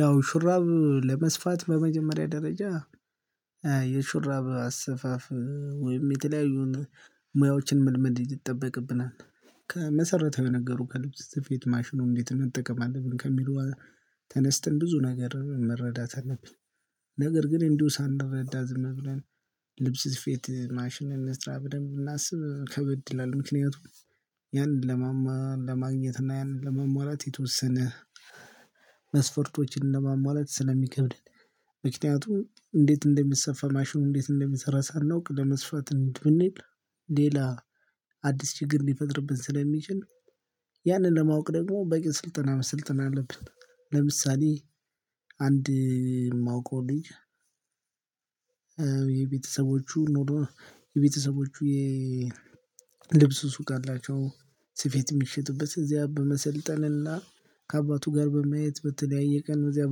ያው ሹራብ ለመስፋት በመጀመሪያ ደረጃ የሹራብ አሰፋፍ ወይም የተለያዩ ሙያዎችን መልመድ ይጠበቅብናል። ከመሰረታዊ የነገሩ ከልብስ ስፌት ማሽኑን እንዴት መጠቀም አለብን ከሚሉ ተነስተን ብዙ ነገር መረዳት አለብን። ነገር ግን እንዲሁ ሳንረዳ ዝም ብለን ልብስ ፊት ማሽን እንስራ ብለን ብናስብ ከበድላለን ምክንያቱም። ያንን ለማማ ለማግኘት እና ያንን ለማሟላት የተወሰነ መስፈርቶችን ለማሟላት ስለሚከብደን። ምክንያቱም እንዴት እንደምትሰፋ ማሽኑ እንዴት እንደምትሰራ ሳናውቅ ለመስፋት ብንል ሌላ አዲስ ችግር ነው የሚፈጥርብን ስለሚችል። ያንን ለማወቅ ደግሞ በቂ ስልጠና መስልጠን አለብን። ለምሳሌ አንድ የማውቀው ልጅ የቤተሰቦቹ ኖሮ የቤተሰቦቹ የልብስ ሱቅ አላቸው ስፌት የሚሸጡበት እዚያ በመሰልጠን እና ከአባቱ ጋር በማየት በተለያየ ቀን እዚያ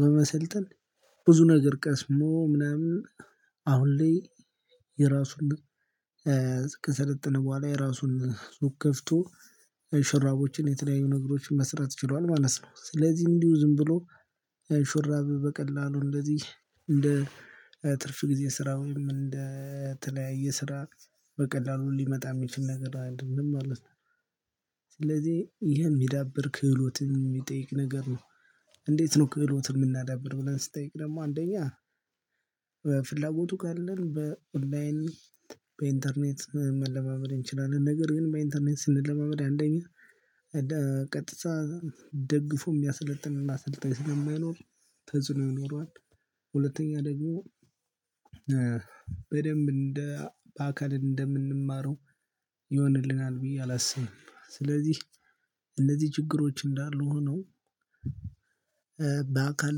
በመሰልጠን። ብዙ ነገር ቀስሞ ምናምን አሁን ላይ የራሱን ከሰለጠነ በኋላ የራሱን ሱቅ ከፍቶ ሽራቦችን የተለያዩ ነገሮችን መስራት ችሏል ማለት ነው። ስለዚህ እንዲሁ ዝም ብሎ ሹራብ በቀላሉ እንደዚህ እንደ ትርፍ ጊዜ ስራ ወይም እንደ ተለያየ ስራ በቀላሉ ሊመጣ የሚችል ነገር አይደለም ማለት ነው። ስለዚህ ይሄ የሚዳብር ክህሎትም የሚጠይቅ ነገር ነው። እንዴት ነው ክህሎትን የምናዳብረው ብለን ስንጠይቅ? ደግሞ አንደኛ ፍላጎቱ ካለን በኦንላይን በኢንተርኔት መለማመድ እንችላለን። ነገር ግን በኢንተርኔት ስንለማመድ አንደኛ ቀጥታ ደግፎ የሚያሰለጥንና አሰልጣኝ ስለማይኖር ተጽዕኖ ይኖረዋል። ሁለተኛ ደግሞ በደንብ እንደ በአካል እንደምንማረው ይሆንልናል ብዬ አላስብም። ስለዚህ እነዚህ ችግሮች እንዳሉ ሆኖ በአካል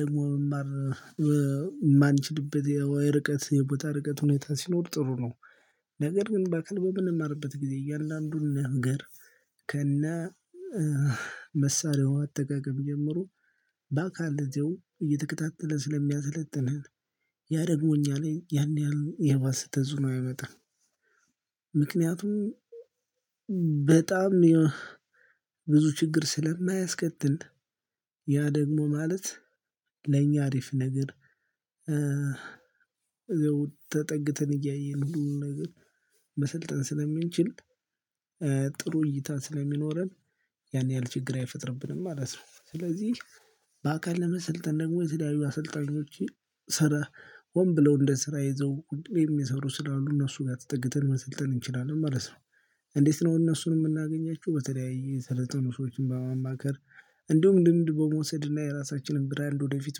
ደግሞ መማር የማንችልበት የርቀት የቦታ ርቀት ሁኔታ ሲኖር ጥሩ ነው። ነገር ግን በቅርብ በምንማርበት ጊዜ እያለ አንዱን ነገር ከነ መሳሪያው አጠገብ ጀምሮ በአካል እንደው እየተከታተለ ስለሚያሰለጥነን ያደግሞ እኛ ላየ ያን ያህል የባሰ ተተፅዕኖ አያመጣም። ምክንያቱም በጣም ብዙ ችግር ስለማያስከትል። ያ ደግሞ ማለት ለኛ አሪፍ ነገር ተጠግተን እያየን ሁሉንም ነገር መሰልጠንን ስለሚንችል ጥሩ እይታ ስለሚኖረን ያን ያህል ችግር አይፈጥርብንም ማለት ነው። ስለዚህ በአካል ለመሰልጠን ደግሞ የትዳዩ አሰልጣኞች ስራ ወን ብለው እንደ ስራ ይዘው ቁጭ ብለው የሚሰሩ ስላሉ እነሱ ጋር ተጠግተን መሰልጠን እንችላለን ማለት ነው። እንዴት ነው እነሱን የምናገኛቸው? በተለያየ ስለ የሰለጠኑ ሰዎችን በማማከር እንዲሁም ልምድ በመውሰድ እና የራሳችንን ብራንድ ወደፊት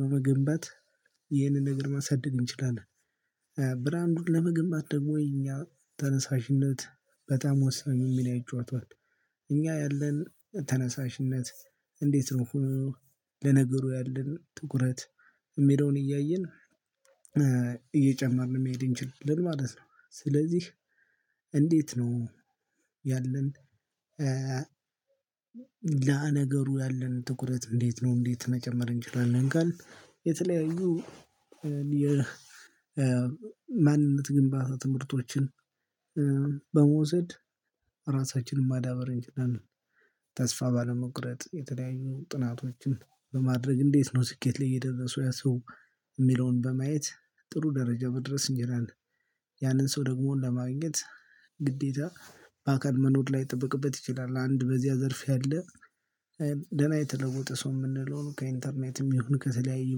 በመገንባት ይህንን ነገር ማሳደግ እንችላለን። ብራንዱን ለመገንባት ደግሞ እኛ ተነሳሽነት በጣም ወሳኙን ሚና ይይጫወተዋል። እኛ ያለን ተነሳሽነት ለነገሩ ያለን ጥቁረት የሚለውን እያየን እየጨመርን የሚሄድ እንችላለን ማለት ነው። ስለዚህ እንዴት ነው? ያለን ላነገሩ ያለን ትኩረት እንዴት ነው እንዴት መጨመር እንችላለን? ጋር የተለያዩ የማንነት ግንባታ ትምህርቶችን በመውሰድ ራሳችንን ማዳበር እንችላለን። ተስፋ ባለመቁረጥ የተለያዩ ጥናቶችን በማድረግ እንዴት ነው ስኬት ላይ የደረሱ ያ ሰው የሚለውን በማየት ጥሩ ደረጃ በድረስ እንጂ ያንን ሰው ደግሞ ለማግኘት ግዴታ በአካል መኖር ላይ ይጠበቅበት ይችላል። አንድ በዚያ ዘርፍ ያለ ደህና የተለወጠ ሰው የምንለው ከኢንተርኔትም ይሁን ከተለያዩ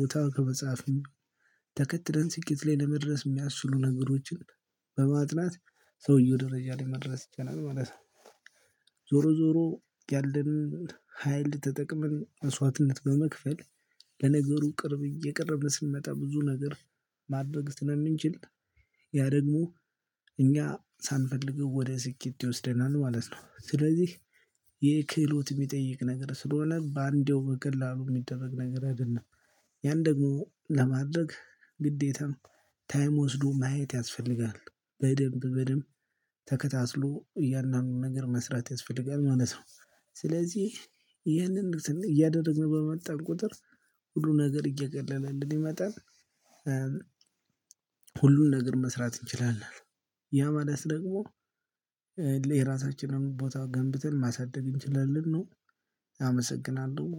ቦታ ከመጽሐፍ ተከትለን ስቂት ላይ ለመድረስ የሚያስችሉ ነገሮችን በማጥናት ሰውየው ደረጃ ላይ መድረስ ይቻላል ማለት ነው። ዞሮ ዞሮ ያለንን ሀይል ተጠቅመን መሷትነት በመክፈል ለነገሩ ቅርብ እየቀረብን ስንመጣ ብዙ ነገር ማድረግ ስለምንችል ያ ደግሞ እኛ ሳንፈልገው ወደ ስኬት ይወስደናል ማለት ነው። ስለዚህ የይህ ክህሎት ሚጠይቅ ነገር ስለሆነ በአንዴው በቀላሉ የሚደረግ ነገር አይደለም። ያን ደግሞ ለማድረግ ግዴታም ታይም ወስዶ ማየት ያስፈልጋል። በደንብ በደንብ ተከታትሎ እያንዳንዱ ነገር መስራት ያስፈልጋል ማለት ነው። ስለዚህ ይህንን እያደረግን በመጣን ቁጥር ሁሉ ነገር እየገለለን ይመጣል። ሁሉን ነገር መስራት እንችላለን። ያ ማለት ደግሞ የራሳችንን ቦታ ገንብተን ማሳደግ እንችላለን ነው አመሰግናለሁ።